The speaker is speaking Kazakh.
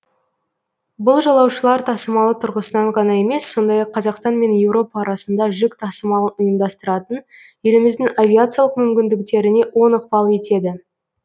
бұл жолаушылар тасымалы тұрғысынан ғана емес сондай ақ қазақстан мен еуропа арасында жүк тасымалын ұйымдастыратын еліміздің авиациялық мүмкіндіктеріне оң ықпал етеді